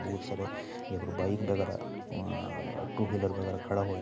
बोत सारे यहाॅं पर बाइक बैगरा अं टू व्हीलर वगैरह खड़ा होय --